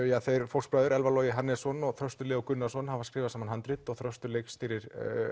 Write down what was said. þeir fóstbræður Elfar Logi Hannesson og Þröstur Leó Gunnarsson hafa skrifað saman handrit og Þröstur leikstýrir